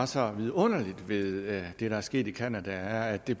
så vidunderligt ved det der er sket i canada er at det